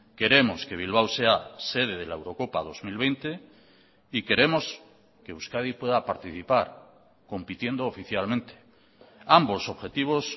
queremos que bilbao sea sede de la eurocopa dos mil veinte y queremos que euskadi pueda participar compitiendo oficialmente ambos objetivos